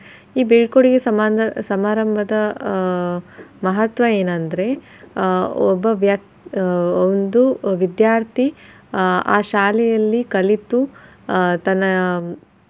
ಈ ಬೀಳ್ಕೊಡುಗೆ ಸಮಾರ್~ ಸಮಾರಂಭದ ಆಹ್ ಮಹತ್ವ ಏನ ಅಂದ್ರೆ ಆಹ್ ಒಬ್ಬ ವ್ಯ~ ಆಹ್ ಒಂದು ವಿದ್ಯಾರ್ಥಿ ಆಹ್ ಆ ಶಾಲೆಯಲ್ಲಿ ಕಲಿತು ಆಹ್ ತನ್ನ.